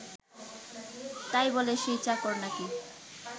তাই বলে সে চাকর নাকি